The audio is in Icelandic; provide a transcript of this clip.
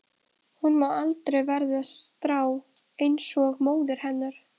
Hún má aldrei verða strá einsog móðir hennar.